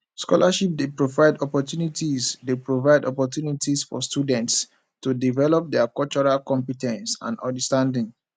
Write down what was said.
scholarships dey provide opportunities dey provide opportunities for students to develop dia cultural compe ten ce and understanding